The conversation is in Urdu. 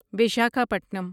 وشاکھا پٹنم